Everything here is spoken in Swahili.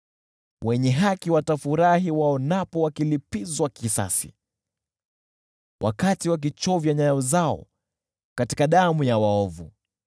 Wenye haki watafurahi waonapo wakilipizwa kisasi, watakapochovya nyayo zao katika damu ya waovu.